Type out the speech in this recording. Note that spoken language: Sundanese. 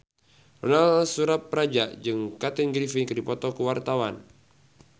Ronal Surapradja jeung Kathy Griffin keur dipoto ku wartawan